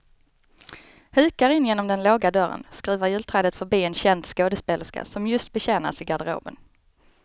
Hukar in genom den låga dörren, skruvar julträdet förbi en känd skådespelerska som just betjänas i garderoben.